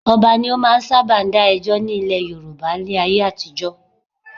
Ọba ni ó máa ń sábà dá ẹjọ́ ní ilẹ̀ Yorùbá láyé àtijọ́